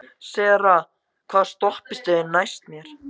Sera, hvaða stoppistöð er næst mér?